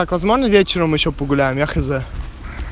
возможно вечером ещё популярных видов